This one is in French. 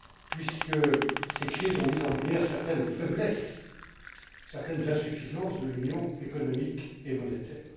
puisque ces crises ont mis en lumière certaines faiblesses et insuffisances de l'union économique et monétaire.